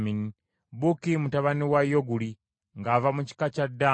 Buki mutabani wa Yoguli ng’ava mu kika kya Ddaani.